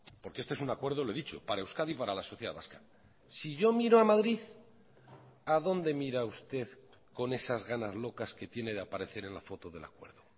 porque este es un acuerdo lo he dicho para euskadi y para la sociedad vasca si yo miro a madrid a dónde mira usted con esas ganas locas que tiene de aparecer en la foto del acuerdo